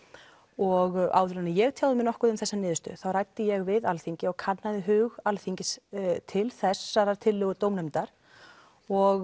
og áður en ég tjáði mig nokkuð um þessa niðurstöðu þá ræddi ég við Alþingi og kannaði hug Alþingis til þessarar tillögu dómnefndar og